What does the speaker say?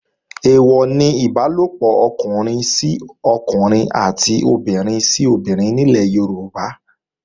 Èèwọ̀ ni Ìbálòpọ̀ ọkùnrin sọ́kùnrin àti obìnrin sóbinrin ní ilẹ̀ Yorùbá